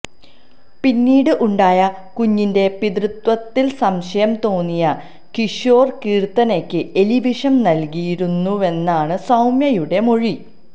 പിന്നീട് ഉണ്ടായ കുഞ്ഞിന്റെ പിതൃത്വത്തില് സംശയം തോന്നിയ കിഷോര് കീര്ത്തനയ്ക്ക് എലിവിഷം നല്കിയിരുന്നുവെന്നാണു സൌമ്യയുടെ മൊഴി